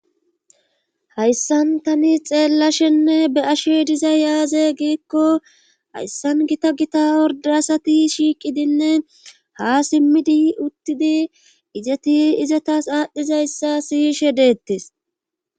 hayssan tani xeellashenne be ashe diza yaaze giikko hayssan gita gita ordasati shiiqidinne ha simmidi uttidi izeti izatas aadhdhizayssa siyshe deettes